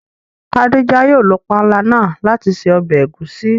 Khádíjà yóò lọ pànla náà lati ṣẹ̀ ọbẹ̀ ègúsì.